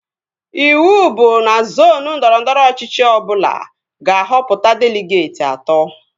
Ịwụ bụ na zoonu ndọrọndọrọ ọchịchị ọbụla ga-ahọpụta deligeetị atọ